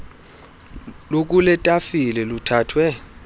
lukule tafile luthathwe